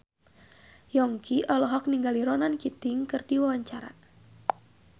Yongki olohok ningali Ronan Keating keur diwawancara